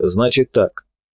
значит так